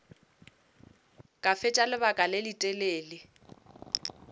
ka fetša lebaka le letelele